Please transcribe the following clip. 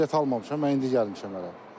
Hələ bilet almamışam, mən indi gəlmişəm hələ.